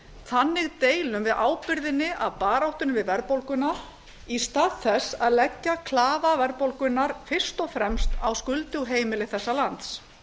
þannig deilum við ábyrgðinni af baráttunni við verðbólguna í stað þess að leggja klafa verðbólgunnar fyrst og fremst á skuldug heimili þessa lands